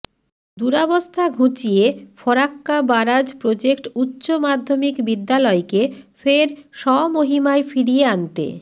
দুরাবস্থা ঘুচিয়ে Farakka barrage project উচ্চ মাধ্যমিক বিদ্যালয়কে ফের স্বমহিমায় ফিরিয়ে আনতে